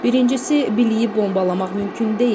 Birincisi, biliyi bombalamaq mümkün deyil.